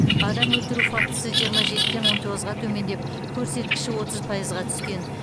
адам өлтіру фактісі жиырма жетіден он тоғызға төмендеп көрсеткіші отыз пайызға түскен